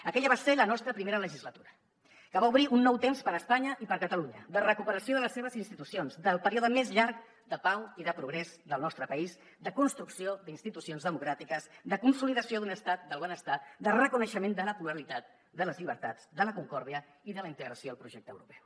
aquella va ser la nostra primera legislatura que va obrir un nou temps per a espanya i per a catalunya de recuperació de les seves institucions del període més llarg de pau i de progrés del nostre país de construcció d’institucions democràtiques de consolidació d’un estat del benestar de reconeixement de la pluralitat de les llibertats de la concòrdia i de la integració al projecte europeu